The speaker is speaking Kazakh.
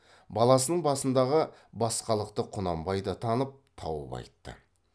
баласының басындағы басқалықты құнанбай да танып тауып айтты